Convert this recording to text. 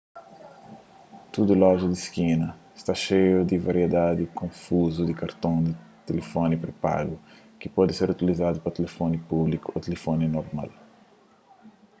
tdu loja di skina sta xeiu di variedadi konfuzu di karton di tilifoni pré-pagu ki pode ser utilizadu na tilifoni públiku ô tilifoni normal